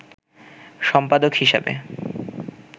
সম্পাদক হিসাবে